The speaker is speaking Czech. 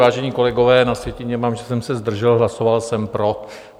Vážení kolegové, na sjetině mám, že jsem se zdržel, hlasoval jsem pro.